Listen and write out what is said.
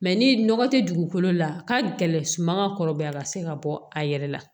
ni nɔgɔ tɛ dugukolo la ka gɛlɛn suman ka kɔrɔbaya ka se ka bɔ a yɛrɛ la